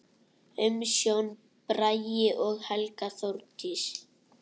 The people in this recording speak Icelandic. Umsjón: Bragi og Helga Þórdís.